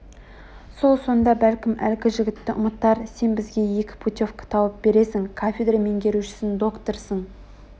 сол сонда бәлкім әлгі жігітті ұмытар сен бізге екі путевка тауып бересің кафедра меңгерушісің докторсың